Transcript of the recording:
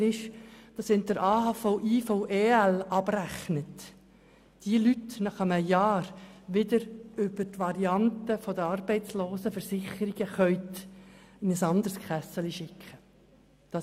Viel relevanter ist jedoch, dass wenn Sie AHV/IV/EL abrechnen, Sie diese Leute nach einem Jahr über die Variante der Arbeitslosenversicherung zu einer anderen Kasse schicken können.